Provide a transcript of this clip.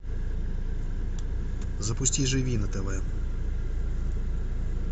запусти живи на тв